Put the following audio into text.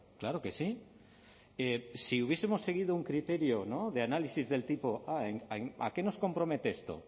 claro que sí si hubiesemos seguido un criterio de análisis del tipo a a qué nos compromete esto